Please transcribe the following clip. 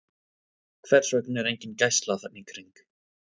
Hvers vegna var engin gæsla þarna í kring?